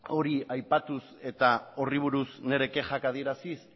hori aipatuz eta horri buruz nire kexak adieraziz